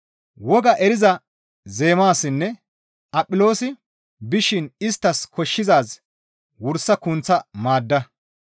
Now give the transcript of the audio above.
Woga eriza Zeemaasinne Aphiloosi bishin isttas koshshizaaz wursa kunththa maadda.